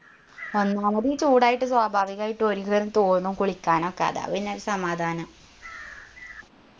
ഒന്നാമതീ ചൂടായിട്ട് സ്വാഭാവികായിട്ടും തോന്നും കുളിക്കാനൊക്കെ അതാ പിന്നെ ഒരു സമാധാനം